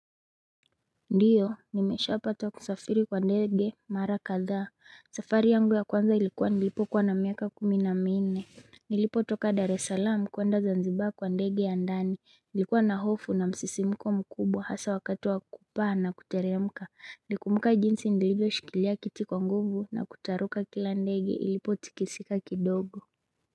Ndiyo nimesha pata kusafiri kwa ndege mara kadha safari yangu ya kwanza ilikuwa nilipo kuwa na miaka kumi na minne Nilipo toka dar es salaam kwenda zanzibar kwa ndege ya ndani nilikuwa na hofu na msisimko mkubwa hasa wakati wa kupaa na kuteremka Ndiyo nimesha pata kusafiri kwa ndege mara kadha safari yangu ya kwanza ilikuwa nilipo kuwa na miaka kumi na minne Nilipo toka dare salam kwenda zanzibar kwa ndege ya ndani nilikuwa na hofu na msisimko mkubwa hasa wakati wa kupaa na kuteremka.